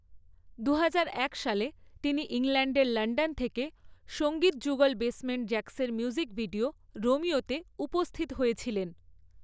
দুহাজার এক সালে, তিনি ইংল্যান্ডের লন্ডন থেকে সঙ্গীত যুগল বেসমেন্ট জ্যাক্সের মিউজিক ভিডিও 'রোমিও' তে উপস্থিত হয়েছিলেন।